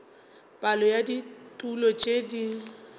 palo ya ditulo tšeo di